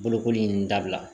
Bolokoli in dabila